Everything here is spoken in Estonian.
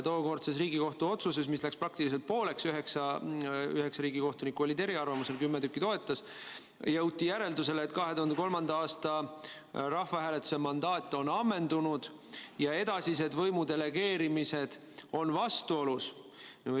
Tookordses Riigikohtu otsuses, mille tegemisel jagunesid hääled praktiliselt pooleks – 9 riigikohtunikku oli eriarvamusel, 10 kohtunikku toetas –, jõuti järeldusele, et 2003. aasta rahvahääletuse mandaat on ammendunud ja edasine võimu delegeerimine on põhiseadusega vastuolus.